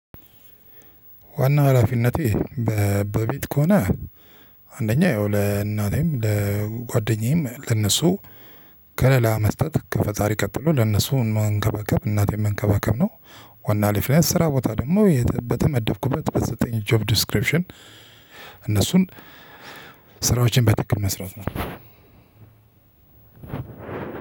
ዋና ሀላፊነቴ በቤት ከሆነ አንደኛ ያው ለእናቴም ለጓደኛዬም ለእነሱ ከለላ መስጠት ከፈጣሪ ቀጥሎ ለእነሱ መንከባከብ እናቴን መንከባከብ ነው። ዋና ሊፍረንስ ስራ ቦታ ደግሞ በተመደብኩበት በዘጠኝ ጆብ ዲስክሪፕሽን። እነሱን ስራዎችን በትክክል መስራት ነው።